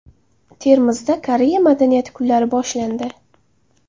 Termizda Koreya madaniyati kunlari boshlandi.